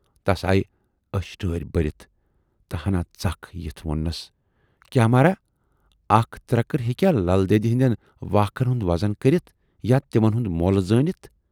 تَس آیہِ ٲشۍ ٹٲرۍ بٔرِتھ تہٕ ہَنا ژَکھ یِتھ ووننَس"کیاہ مہراہ! اَکھ ترکٕر ہیکیاہ للہٕ دٮ۪دِ ہٕندٮ۪ن واکھن ہُند وَزن کٔرِتھ یا تِمَن ہُند مۅل زٲنِتھ